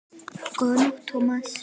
Góða nótt, Thomas